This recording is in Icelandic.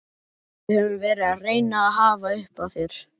Við höfum verið að reyna að hafa upp á þér.